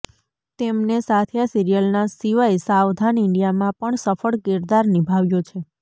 તેમને સાથીયા સીરીયલ ના સિવાય સાવધાન ઇન્ડિયા માં પણ સફળ કિરદાર નિભાવ્યો છે